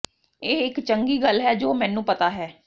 ਇਹ ਇੱਕ ਚੰਗੀ ਗੱਲ ਹੈ ਜੋ ਮੈਨੂੰ ਪਤਾ ਹੈ